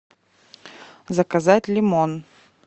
заказать лимон